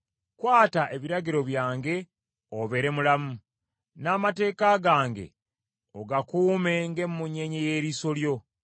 Kwata ebiragiro byange obeere mulamu, n’amateeka gange ogakuume ng’emmunye y’eriiso lyo;